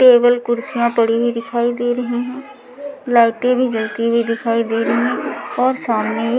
table कुर्सियां पड़ी हुई दिखाई दे रही हैं लाइटें भी जलती हुई दिखाई दे रही हैं और सामने--